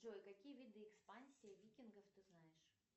джой какие виды экспансии викингов ты знаешь